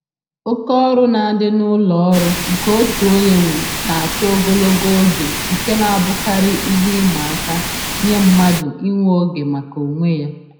Oke ọrụ na-adị n'ụlọ ọrụ nke otu onye nwe na-achọ ogologo oge nke na-abụkarị ihe ịma aka nye mmadụ inwe oge maka onwe ya